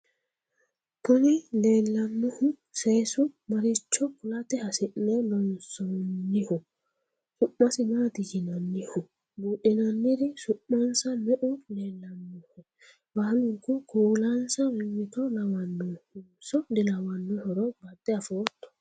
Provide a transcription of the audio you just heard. kuni leellannohu seesu maricho kulate hasi'ne loonsonniho? su'masi maati yinanniho? buudhinanniri su'mansa me"u leellanohe? baalunku kuulansa mimmito lawannonso dilawannohoro badde afoottto?